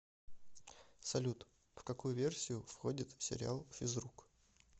салют в какую версию входит сериал физрук